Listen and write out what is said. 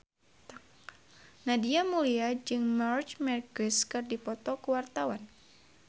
Nadia Mulya jeung Marc Marquez keur dipoto ku wartawan